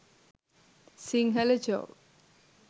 sinhala joke